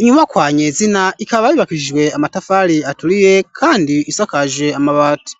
inyubakwa nyezina ikaba yubakishijwe amatafari aturiye kandi isakaje amabati.